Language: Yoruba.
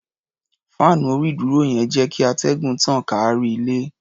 Fáànù orí-ìdúró yẹn ń jẹ́ kíatẹ́gùn tàn káàkiri ilé.